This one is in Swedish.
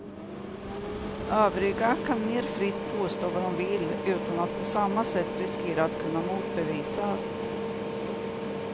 Övriga kan mer fritt påstå vad de vill utan att på samma sätt riskera att kunna motbevisas.